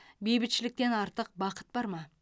бейбітшіліктен артық бақыт бар ма